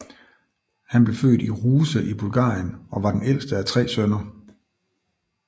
Han blev født i Ruse i Bulgarien og var den ældste af tre sønner